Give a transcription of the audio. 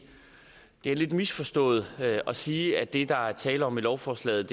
er lidt misforstået at sige at det der er tale om i lovforslaget